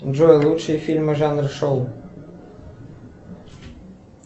джой лучшие фильмы жанра шоу